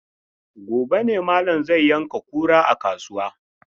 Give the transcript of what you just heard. Gobe ne malam zai yanka kura a kasuwa.